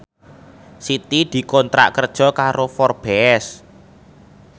Siti dikontrak kerja karo Forbes